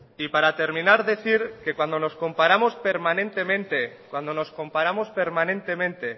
y para terminar decir que cuando nos comparamos permanentemente